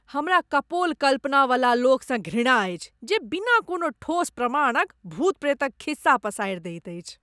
हमरा कपोल कल्पनावला लोकसँ घृणा अछि जे बिना कोनो ठोस प्रमाणक भूत प्रेतक खिस्सा पसारि दैत अछि।